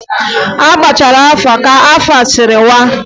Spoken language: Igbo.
A gbachaa afa a kaa ka afa sịrị waa.